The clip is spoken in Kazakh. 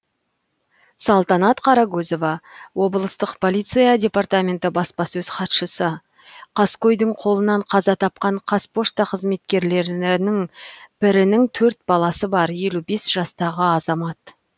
салтанат қарагөзова облыстық полиция департаменті баспасөз хатшысы қаскөйдің қолынан қаза тапқан қазпошта қызметкерлерінің бірінің төрт баласы бар елу бес жастағы азамат